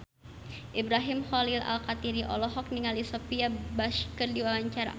Ibrahim Khalil Alkatiri olohok ningali Sophia Bush keur diwawancara